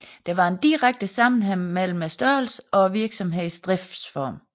Der var en direkte sammenhæng mellem størrelsen og virksomhedens driftsform